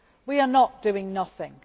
We are not doing nothing.